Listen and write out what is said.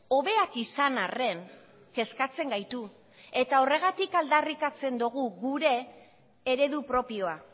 hobeak izan arren kezkatzen gaitu eta horregatik aldarrikatzen dogu gure eredu propioa